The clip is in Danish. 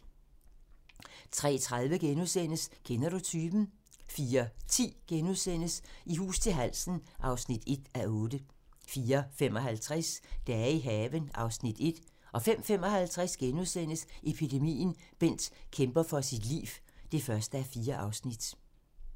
03:30: Kender du typen? * 04:10: I hus til halsen (1:8)* 04:55: Dage i haven (Afs. 1) 05:55: Epidemien - Bent kæmper for sit liv (1:4)*